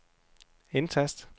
indtast